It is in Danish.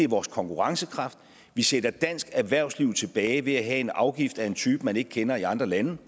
vores konkurrencekraft altså vi sætter dansk erhvervsliv tilbage ved at have en afgift af en type man ikke kender i andre lande